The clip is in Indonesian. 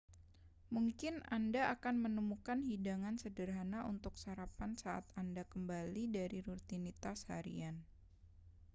mungkin anda akan menemukan hidangan sederhana untuk sarapan saat anda kembali dari rutinitas harian